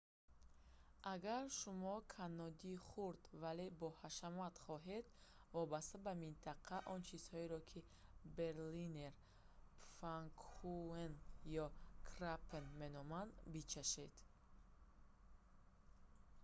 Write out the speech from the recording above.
агар шумоканнодии хурд вале боҳашамат хоҳед вобаста ба минтақа он чизҳоеро ки берлинер пфаннкухен ё крапфен меноманд бичашед